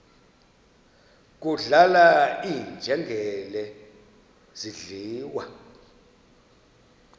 kudlala iinjengele zidliwa